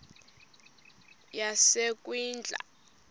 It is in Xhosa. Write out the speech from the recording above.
yasekwindla